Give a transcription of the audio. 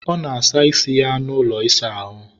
ọ na-asa isi ya n'ụlọ ịsa ahụ